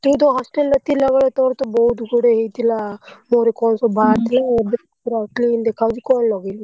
ତୁ ତ hostel ରେ ଥିଲା ବେଳେ ତୋରତ ବହୁତ ଗୁଡେ ହେଇଥିଲା ମୁହଁରେ କଣ ସବୁ ବାହାରିଥିଲା ଏବେ ତ ପୁରା clean ଦେଖାଯାଉଛି କଣ ଲଗେଇଲୁ?